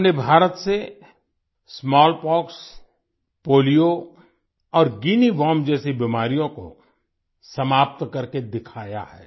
हमने भारत से smallpox polio और गुइनिया वॉर्म जैसी बीमारियों को समाप्त करके दिखाया है